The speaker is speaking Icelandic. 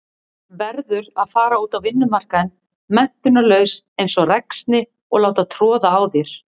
Verður að fara út á vinnumarkaðinn menntunarlaus einsog ræksni og láta troða á þér.